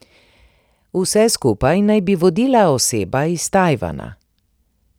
Vse skupaj naj bi vodila oseba iz Tajvana.